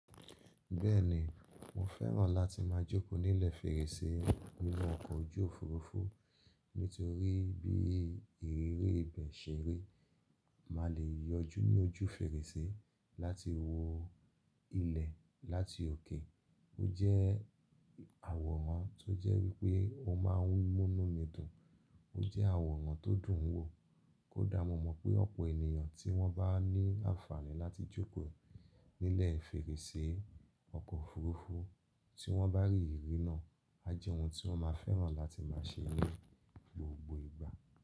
Bẹ́ẹ̀ni, mo fẹ́ràn láti máa jókòó nílẹ̀ fèrèsé nínú ọkọ̀ ojú òfurufú nítorí bí ìrírí ibẹ̀ ṣe rí, máa lè yọjú ni ójú fèrèsé láti wo ilẹ̀ láti òkè. Ó jẹ́ àwòrán tó jẹ́ wípé o máa ń múnú mi dùn. Ó jẹ́ àwòrán tó dùn wò, kó dáa mo mọ̀ pé ọ̀pọ̀ ènìyàn tí wọ́n bá ní àǹfààní láti jókòó nílẹ̀ fèrèsé ọkọ̀ òfurufú tí wọ́n bá rí ìríri náà, a jẹ́ ohun tí wọ́n máa fẹ́ràn láti máa ṣe ní gbogbo ìgbà.